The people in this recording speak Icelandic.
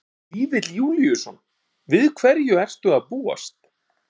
Helgi Vífill Júlíusson: Við hverju ertu að búast?